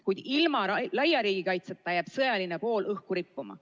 Kuid ilma laiapindse riigikaitseta jääb sõjaline pool õhku rippuma.